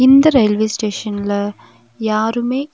இந்த ரயில்வே ஸ்டேஷன்ல யாருமே இல்--